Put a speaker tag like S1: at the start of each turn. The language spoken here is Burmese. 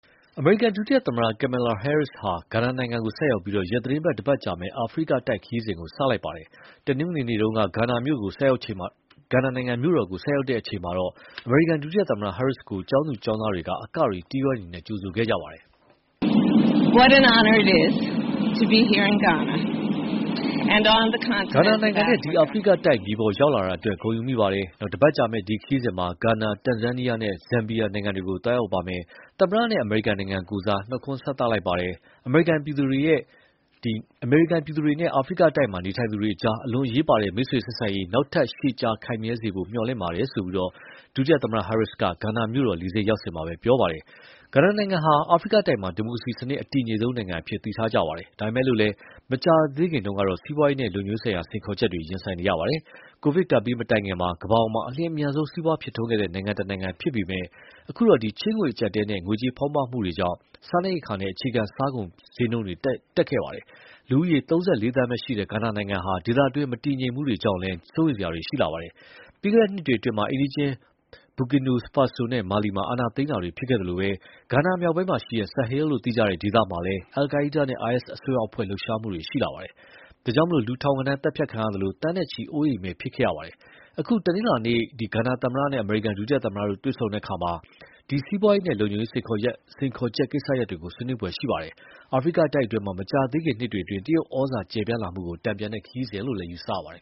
S1: အမေရိကန်ဒုသမ္မတ Kamala Harris ဟာ ဂါနာနိုင်ငံကိုဆိုက်ရောက်ပြီး သီတင်းတပတ်ကြာမယ့် အာဖရိကတိုက်ခရီးစဉ် စတင်လိုက်ပါတယ်။ တနင်္ဂနွေနေ့က ဂါနာမြို့တော်ကို ဆိုက်ရောက်ချိန်မှာတော့ အမေရိကန်ဒုသမ္မတ Harris ကို ကျောင်းသူကျောင်းသားတွေက အကတွေ၊ တီးဝိုင်းတွေနဲ့ ကြိုဆိုပါတယ်။
S2: "ဂါနာနိုင်ငံနဲ့
S1: ဒီအာဖရိကတိုက်မြေပေါ်ရောက်လာတာအတွက် ဂုဏ်ယူမိပါတယ်။ တပတ်ကြာမယ့် ဒီခရီးစဉ်မှာ ဂါနာ၊ တန်ဇန်နီးယားနဲ့ ဇမ်ဘီးယာနိုင်ငံတွေကို သွားရောက်ပါမယ်။ သမ္မတနဲ့ အမေရိကန်နိုင်ငံကိုယ်စား နှုတ်ခွန်းဆက်လိုက်ပါတယ်။ အမေရိကန်ပြည်သူတွေနဲ့ အာဖရိတိုက်မှာနေထိုင်ကြသူတွေအကြား အလွန်အရေးပါတဲ့ မိတ်ဆွေဆက်ဆံရေး နောက်ထပ် ရှည်ကြာခိုင်မြဲစေဖို့ မျှော်လင့်ပါတယ်။" ဆိုပြီး ဒုသမ္မတ Harris က ဂါနာမြို့တော်လေဆိပ်ရောက်စဉ်မှာပဲ ပြောပါတယ်။ ဂါနာနိုင်ငံဟာ အာဖရိကတိုက်မှာ ဒီမိုကရေစီစနစ်အတည်ငြိမ်ဆုံးနိုင်ငံအဖြစ် သိထားကြပါတယ်။ ဒါပေမယ့်လည်း မကြာခင်တုန်းကတော့ စီးပွားရေးနဲ့ လုံခြုံရေးဆိုင်ရာ စိန်ခေါ်ချက်တွေ ရင်ဆိုင်နေရပါတယ်။ ကိုဗစ်ကပ်ဘေးမတိုင်ခင် ကမ္ဘာပေါ်မှာ အလျင်အမြန်ဆုံး စီးပွားဖြစ်ထွန်းတဲ့နိုင်ငံတနိုင်ငံဖြစ်ခဲ့ပေမယ့် အခုတော့ ချေးငွေအကျပ်အတည်းနဲ့ ငွေကြေးဖောင်းပွမှုတွေကြောင့် စားနပ်ရိက္ခာနဲ့ အခြားအခြေခံကုန်ဈေးနှုန်းတွေ ထိုးတက်လာခဲ့ပါတယ်။ လူဦးရေ ၃၄ သန်းပဲရှိတဲ့ ဂါနာနိုင်ငံဟာ ဒေသတွင်းမတည်ငြိမ်မှုတွေကြောင့်လည်း စိုးရိမ်စရာတွေ ရှိလာပါတယ်။ ပြီးခဲ့တဲ့နှစ်တွေအတွင်း အိမ်နီးချင်း Bukina Faso နဲ့ Mali မှာ အာဏာသိမ်းတာတွေဖြစ်ခဲ့သလို ဂါနာမြောက်ပိုင်းက Sahel လို့ သိကြတဲ့ ဒေသမှာလည်း al-Qaida နဲ့ IS အစွန်းရောက်အဖွဲ့ လှုပ်ရှားမှုတွေရှိလာပါတယ်။ ဒါကြောင့် လူထောင်ဂဏန်းသတ်ဖြတ်ခံရသလို သန်းနဲ့ချီ အိုးအိမ်မဲ့ခဲ့ကြပါတယ်။ အခု တနင်္လာနေ့ကျရင် ဂါနာသမ္မတနဲ့ အမေရိကန်ဒုသမ္မတတို့တွေ့ဆုံတဲ့အခါမှာ ဒီလို စီးပွားရေးနဲ့လုံခြုံရေး စိန်ခေါ်ချက်ကိစ္စရပ်တွေ ဆွေးနွေးဖွယ်ရှိပါတယ်။ အာဖရိကတိုက်အတွင်းမှာ မကြာသေးခင်နှစ်တွေအတွင်း တရုတ်ဩဇာကျယ်ပြန့်လာမှုကို တန်ပြန်တဲ့ခရီးစဉ်လို့ ယူဆရပါတယ်